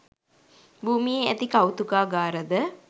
භූමියේ ඇති කෞතුකාගාර ද